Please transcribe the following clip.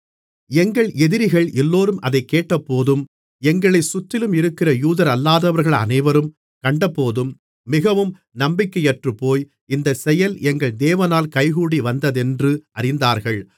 எங்கள் எதிரிகள் எல்லோரும் அதைக் கேட்டபோதும் எங்களை சுற்றிலும் இருக்கிற யூதரல்லாதவர்கள் அனைவரும் கண்டபோதும் மிகவும் நம்பிக்கையற்றுப்போய் இந்த செயல் எங்கள் தேவனால் கைகூடி வந்ததென்று அறிந்தார்கள்